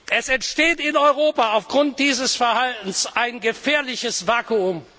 Es entsteht in Europa aufgrund dieses Verhaltens ein gefährliches Vakuum.